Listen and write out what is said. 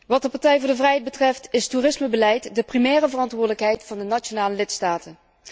Wat de Partij van de Vrijheid betreft, is toerismebeleid de primaire verantwoordelijkheid van de nationale lidstaten.